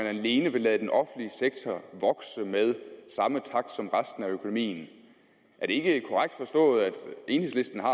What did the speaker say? alene vil lade den offentlige sektor vokse med samme takt som resten af økonomien er det ikke korrekt forstået at enhedslisten har